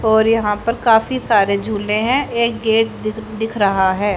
और यहां पर काफी सारे झूले हैं एक गेट दि दिख रहा है।